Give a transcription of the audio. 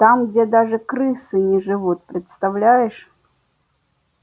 там где даже крысы не живут представляешь